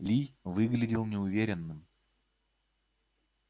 ли выглядел неуверенным